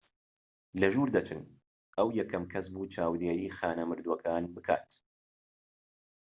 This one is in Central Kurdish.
لە ژوور دەچن ئەو یەکەم کەس بوو چاودێری خانە مردووەکان بکات